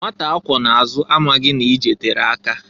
Nwata akwọ na-azụ amaghị na- ije tere aka.